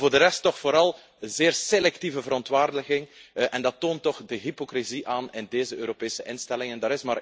Maar voor de rest toch vooral zeer selectieve verontwaardiging. En dat toont toch de hypocrisie aan in deze Europese instellingen.